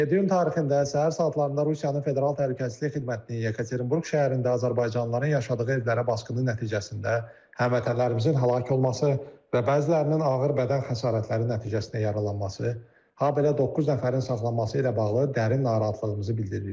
İyunun 27-si tarixində səhər saatlarında Rusiyanın Federal Təhlükəsizlik Xidmətinin Yekaterinburq şəhərində azərbaycanlıların yaşadığı evlərə basqını nəticəsində həmvətənlərimizin həlak olması və bəzilərinin ağır bədən xəsarətləri nəticəsində yaralanması, habelə doqquz nəfərin saxlanması ilə bağlı dərin narahatlığımızı bildiririk.